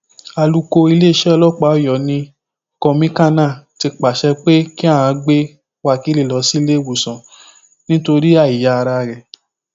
alukó iléeṣẹ ọlọpàá ọyọ ni kọmíkànnà ti pàṣẹ pé kí aán gbé wákílì lọ sí iléewòsàn nítorí àìyá ara rẹ